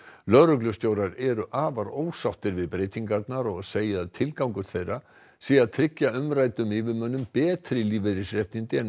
lögreglustjórar eru afar ósáttir við breytingarnar og segja að tilgangur þeirra sé að tryggja umræddum yfirmönnum betri lífeyrisréttindi en